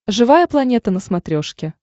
живая планета на смотрешке